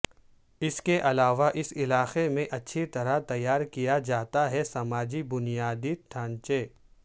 اس کے علاوہ اس علاقے میں اچھی طرح تیار کیا جاتا ہے سماجی بنیادی ڈھانچے